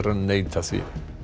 neita því